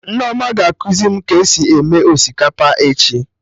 Nneoma ga-ekuzi mụ ka esi eme osikapa echi